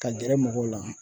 Ka gɛrɛ mɔgɔw la.